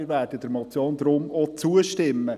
Wir werden der Motion deshalb auch zustimmen.